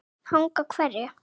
Hanga á hverju?